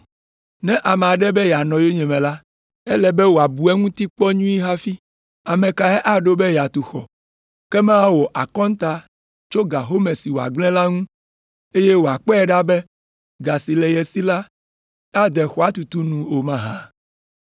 “Ne ame aɖe be yeanɔ yonyeme la, ele be wòabu eŋuti kpɔ nyuie hafi. Ame kae aɖo be yeatu xɔ ke mawɔ akɔnta tso ga home si wòagblẽ la ŋu, eye wòakpɔe ɖa be ga si le ye si la ade xɔa tutu nu o mahã?